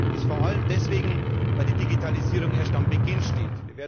Das vor allem deswegen, weil die Digitalisierung erst am Beginn steht.